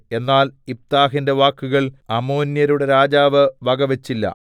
എന്നാൽ യിഫ്താഹിന്റെ വാക്കുകൾ അമ്മോന്യരുടെ രാജാവ് വകവച്ചില്ല